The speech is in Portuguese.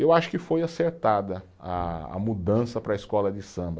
Eu acho que foi acertada a a mudança para a escola de samba.